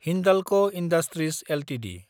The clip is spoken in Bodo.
Hindalco industries Ltd